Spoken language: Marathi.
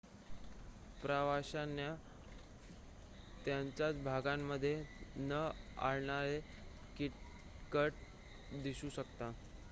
प्रवाशांना त्यांच्या भागांमध्ये न आढळणारे कीटक दिसू शकतात